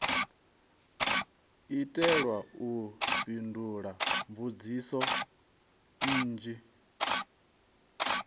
itelwa u fhindula mbudziso nnzhi